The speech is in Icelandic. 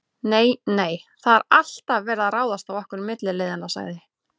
Nei, nei, það er alltaf verið að ráðast á okkur milliliðina sagði